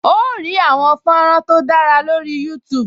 O óò rí àwọn fọ́nrán tó dára lórih Youtube